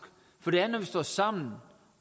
for det er når vi står sammen